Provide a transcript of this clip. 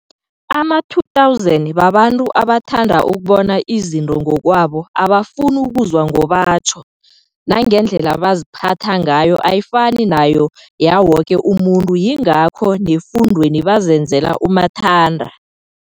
Ama 2000 babantu aba thanda ukubona izinto ngokwabo abafuni ukuzwa ngobatjho, nangendlela bazi phatha ngayo ayifani nayo yawoke umuntu yingakho nefundweni bazenzela umathanda.